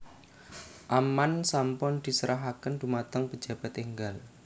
Amman sampun diserahaken dumateng pejabat enggal